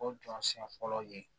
O jɔnsiyɛn fɔlɔ ye